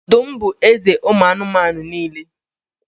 Ọdụm bụ eze ụmụ anụmanụ niile